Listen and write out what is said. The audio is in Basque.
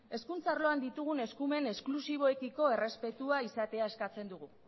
hezkuntza arloan ditugun eskumen esklusiboekiko errespetua izatea eskatzen dugu